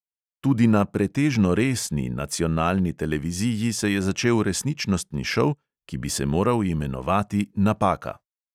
Tudi na "pretežno resni" nacionalni televiziji se je začel resničnostni šov, ki bi se moral imenovati napaka.